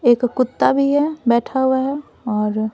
एक कुत्ता भी है बैठा हुआ है और --